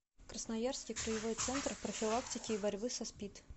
красноярский краевой центр профилактики и борьбы со спид